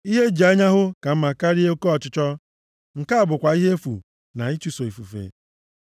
Ihe eji anya hụ ka mma karịa oke ọchịchọ! Nke a bụkwa ihe efu na ịchụso ifufe.